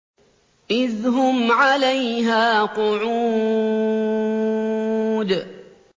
إِذْ هُمْ عَلَيْهَا قُعُودٌ